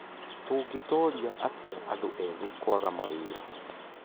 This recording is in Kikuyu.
Tũngĩtoria atĩa andũ ethĩ kwaga mawĩra?